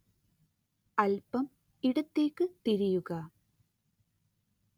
അല്പം ഇടത്തേക്ക് തിരിയുക